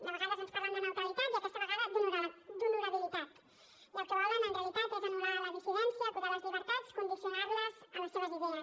de vegades ens parlen de neutralitat i aquesta vegada d’ honorabilitat i el que volen en realitat és anul·lar la dissidència acotar les llibertats condicionar les a les seves idees